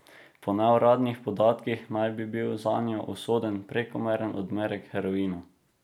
Po neuradnih podatkih naj bi bil zanjo usoden prekomeren odmerek heroina.